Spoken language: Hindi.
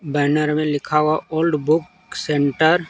बैनर में लिखा हुआ ओल्ड बुक सेंटर ।